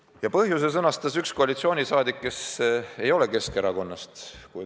Selle põhjuse sõnastas üks koalitsioonisaadik, kes ei ole Keskerakonnast.